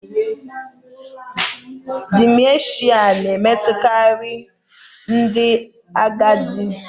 Dimenshịa na-emetụtakarị ndị agadi